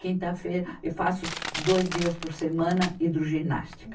Quinta-feira eu faço dois dias por semana hidroginástica.